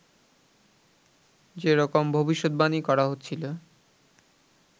যে রকম ভবিষ্যদ্বাণী করা হচ্ছিল